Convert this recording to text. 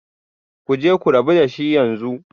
Ku je ku rabu da shi yanzu